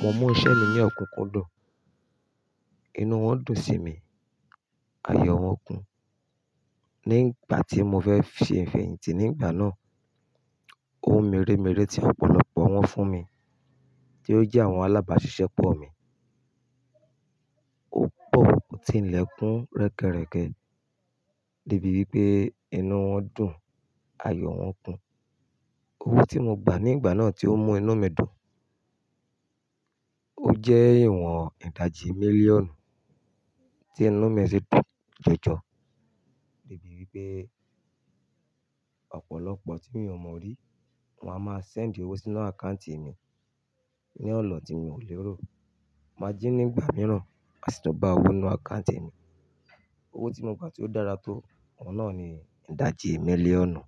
Mo mú iṣẹ́ mi ní òkúnkúndùn, inú wọn dùn sí mi, ayọ̀ wọn kún. Ní ìgbà tí mo fẹ́ fi ìfẹ̀yìntì nígbà náà, ohun mèremère tí ọ̀pọ̀lọpọ̀ wọn fún mi tí ó jẹ́ àwọn alábàáṣiṣẹ́ pọ̀ mí. Ó pọ̀ púpọ̀ tí ilẹ̀kùn rẹ́kẹrẹ́kẹ, débi wípé inú wọn dùn, ayọ̀ wọn kún. Owó tí mo gba nígbà náà tí ó mú inú mi dùn, ó jẹ́ ìwọ̀n ìdajì mílíọ̀nù tí inú mi sì dùn jọjọ débi wípé ọ̀pọ̀lọpọ̀ tí mi ò mọ̀ rí wọ́n a máa send owó sínú àkáùntì mi ní ọ̀na tí mi ò lè rò. Màjí̀ní ìgbà mìíràn, ma sì tun bá owó ninú àkáùntì mi. Owó tí mo gba tí ó dára tó, oun náà ni ìdajì mílíọ̀nù.